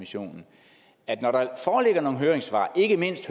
jo nogle høringssvar ikke mindst